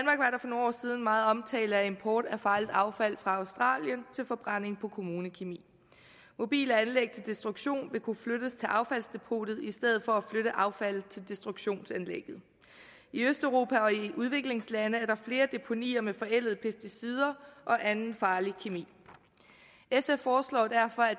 for nogle år siden meget omtale af import af farligt affald fra australien til forbrænding på kommunekemi mobile anlæg til destruktion vil kunne flyttes til affaldsdepotet i stedet for at affaldet til destruktionsanlægget i østeuropa og i udviklingslande er der flere deponier med forældede pesticider og anden farlig kemi sf foreslår derfor at